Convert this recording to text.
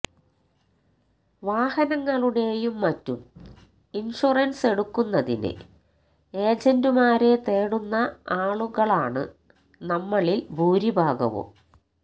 വാഹനങ്ങളുടെയും മറ്റും ഇന്ഷുറന്സ് എടുക്കുന്നതിന് ഏജന്റുമാരെ തേടുന്ന ആളുകളാണ് നമ്മളില് ഭൂരിഭാഗവും